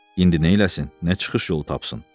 İndi neyləsin, nə çıxış yolu tapsın?